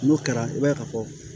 N'o kɛra i b'a ye ka fɔ